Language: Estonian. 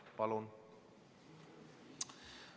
Palun!